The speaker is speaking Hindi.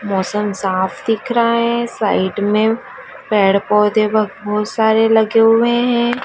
मौसम साफ दिख रहा है साइड में पेड़ पौधे बहोत सारे लगे हुए हैं।